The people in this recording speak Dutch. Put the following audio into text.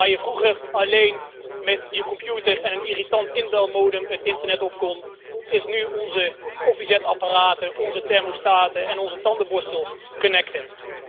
Waar je vroeger alleen met je computer en een irritant inbelmodem het internet op kon, zijn nu onze koffiezetapparaten, onze thermostaten en onze tandenborstels connected